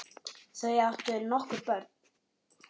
Þau áttu nokkur börn.